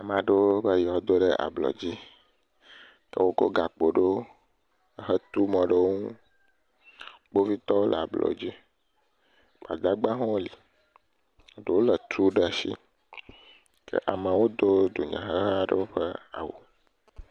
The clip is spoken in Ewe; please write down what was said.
Ame aɖewo be yewoado ɖe ablɔdzi. Ke wokɔ gakpo ɖewo ehe to mɔ ɖe wo ŋu. Kpovitɔwo le ablɔdzi. Gbadagbawo hã woli. Ɖewo lé tu ɖa shi. Ke ameawo do dunyaheha aɖewo ƒe awu.